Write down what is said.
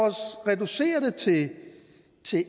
reducere det til